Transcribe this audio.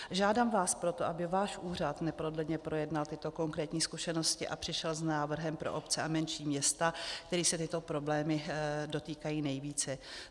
Žádám vás proto, aby váš úřad neprodleně projednal tyto konkrétní zkušenosti a přišel s návrhem pro obce a menší města, kterých se tyto problémy dotýkají nejvíce.